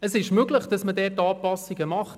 Es ist möglich, dort Anpassungen vorzunehmen.